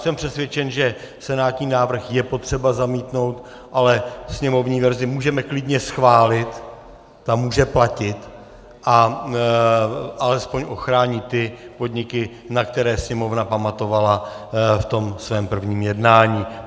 Jsem přesvědčen, že senátní návrh je potřeba zamítnout, ale sněmovní verzi můžeme klidně schválit, ta může platit a alespoň ochrání ty podniky, na které Sněmovna pamatovala v tom svém prvním jednání.